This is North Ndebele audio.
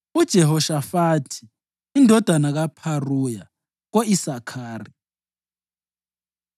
uJehoshafathi indodana kaPharuya, ko-Isakhari;